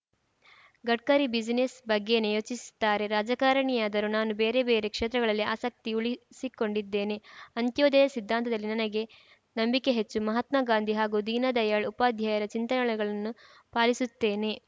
Gadkari business ಬಗ್ಗೇನೇ ಯೋಚಿಸ್ತಾರೆ ರಾಜಕಾರಣಿಯಾದರೂ ನಾನು ಬೇರೆ ಬೇರೆ ಕ್ಷೇತ್ರಗಳಲ್ಲಿ ಆಸಕ್ತಿ ಉಳಿಸಿಕೊಂಡಿದ್ದೇನೆ ಅಂತ್ಯೋದಯ ಸಿದ್ಧಾಂತದಲ್ಲಿ ನನಗೆ ನಂಬಿಕೆ ಹೆಚ್ಚು ಮಹಾತ್ಮ ಗಾಂಧಿ ಹಾಗೂ ದೀನದಯಾಳ್‌ ಉಪಾಧ್ಯಾಯರ ಚಿಂತನೆಗಳನ್ನು ಪಾಲಿಸುತ್ತೇನೆ